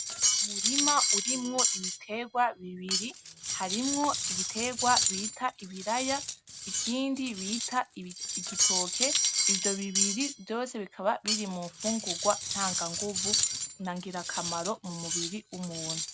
Umurima urimwo ibiterwa bibiri, harimwo igiterwa bita ibiraya ikindi bita igitoke , ivyo bibiri vyose bikaba biri mumfungurwa ntanga ngumvu na ngirakamaro mumubiri wumuntu .